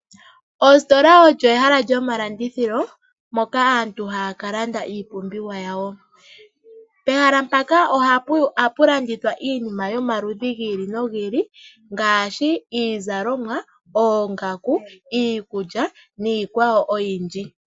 Ositola olyo ehala lyomalandithilo moka aantu haya ka landa iipumbiwa yawo. Pehala mpaka ohapu landithwa iinima yomaludhi go ili nogi ili. Ngaashi iizalomwa, oongaku, iikulya niikwawo oyindji.